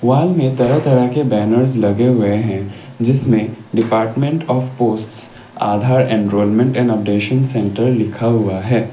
वाल में तरह-तरह के बैनर्स लगे हुए हैं जिसमें department of posts Aadhaar enrolment and updation centre लिखा हुआ है।